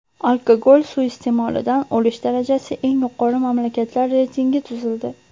Alkogol suiiste’molidan o‘lish darajasi eng yuqori mamlakatlar reytingi tuzildi.